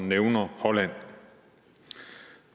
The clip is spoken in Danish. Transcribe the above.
nævner holland